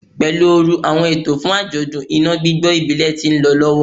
Pelu ooru, awọn eto fun ajọdun ina gbigbo ibile ti nlọ lọwọ